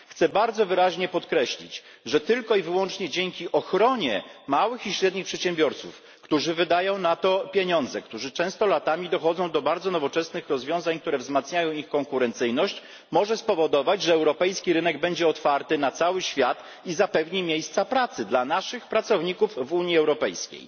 Chcę bardzo wyraźnie podkreślić, że tylko i wyłącznie dzięki ochronie małych i średnich przedsiębiorców, którzy wydają na to pieniądze, którzy często latami dochodzą do bardzo nowoczesnych rozwiązań wzmacniających ich konkurencyjność, można spowodować, że europejski rynek będzie otwarty na cały świat i zapewni miejsca pracy dla naszych pracowników w Unii Europejskiej.